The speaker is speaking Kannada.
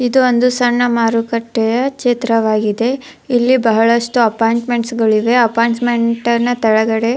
ಇದು ಒಂದು ಸಣ್ಣ ಮಾರುಕಟ್ಟೆಯ ಚಿತ್ರವಾಗಿದೆ ಇಲ್ಲಿ ಬಹಳಷ್ಟು ಅಪಾರ್ಟ್ಮೆಂಟ್ಸ್ಗಳು ಇವೆ ಅಪಾರ್ಟ್ಮೆಂಟ್ಸ್ಗನ ತಳಗಡೆ --